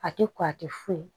A tɛ ko a tɛ foyi